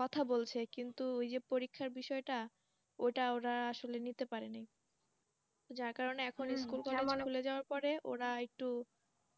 কথা বলছে কিন্তু ওই যে পরীক্ষার বিষয়টা ওটা ওরা আসলে নিতে পারেনি তো যার কারণে এখন খুলে যাওয়ার পরে ওরা একটু